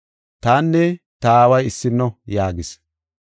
Tanne ta Aaway issino” yaagis.